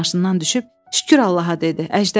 Binnət maşından düşüb: Şükür Allaha dedi.